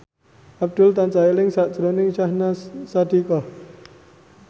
Abdul tansah eling sakjroning Syahnaz Sadiqah